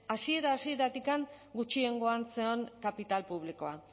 hasiera hasieratik gutxiengoan zen kapital publikoa